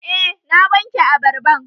Eh na wanke abarban